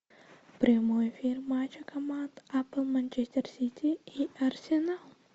прямой эфир матча команд апл манчестер сити и арсенал